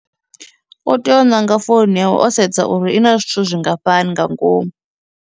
O tea u ṋanga founu yawe o sedza uri i na zwithu zwingafhani nga ngomu.